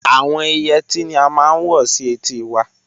Àwọn Ìyetí ni à màá n wọ̀ sí ètì wà.